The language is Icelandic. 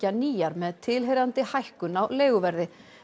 ný hús með tilheyrandi hækkun á leiguverði